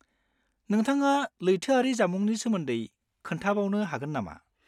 नोंथाङा लैथोआरि जामुंनि सोमोन्दै खोन्थाबावनो हागोन नामा?